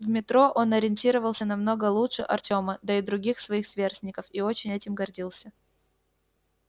в метро он ориентировался намного лучше артема да и других своих сверстников и очень этим гордился